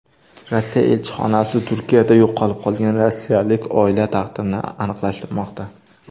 Rossiya elchixonasi Turkiyada yo‘qolib qolgan rossiyalik oila taqdirini aniqlashtirmoqda.